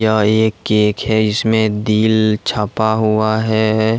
यह एक केक है जिसमें दिल छपा हुआ है।